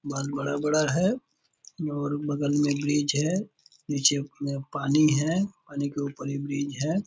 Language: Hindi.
बहुत बड़ा-बड़ा है और बगल में ब्रिज है नीचे उह पानी है पानी के ऊपर ही ब्रिज है।